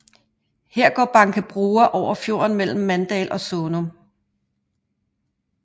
Her går Bankebroa over fjorden mellem Mandal og Sånum